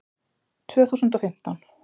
Tvö þúsund og fimmtán